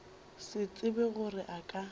se tsebe gore a ka